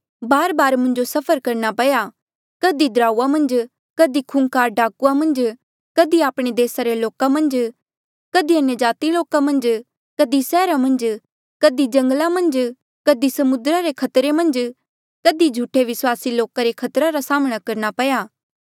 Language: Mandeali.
बारबार मुंजो सफर करना पया कधी दराऊआ मन्झ कधी खूंखार डाकुआ मन्झ कधी आपणे देसा रे लोका मन्झ कधी अन्यजाति लोका मन्झ कधी सैहरा मन्झ कधी जंगला मन्झ कधी समुद्रा रे खतरे मन्झ कधी झूठे विस्वासी लोका रे खतरे रा सामना करना पया